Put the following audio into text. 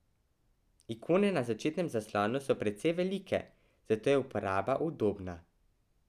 Ikone na začetnem zaslonu so precej velike, zato je uporaba udobna.